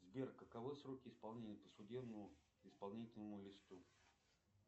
сбер каковы сроки исполнения по судебному исполнительному листу